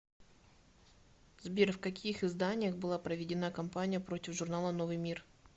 сбер в каких изданиях была проведена кампания против журнала новый мир